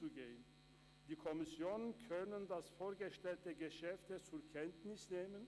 Die Kommissionen können das vorgestellte Geschäft zur Kenntnis nehmen.